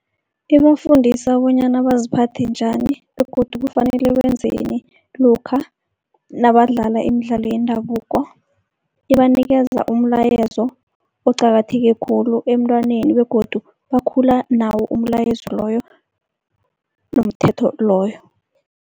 Ibafundisa bonyana baziphathe njani begodu kufanele wenzeni lokha nabadlala imidlalo yendabuko. Ibanikeza umlayezo oqakatheke khulu emntwaneni begodu bakhula nawo umlayezo loyo nomthetho loyo.